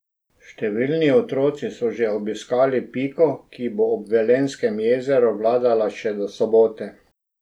Številni otroci so že obiskali Piko, ki bo ob Velenjskem jezeru vladala še do sobote.